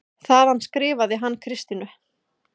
Þaðan skrifar hann Kristínu